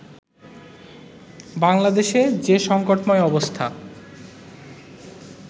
বাংলাদেশে যে সংকটময় অবস্থা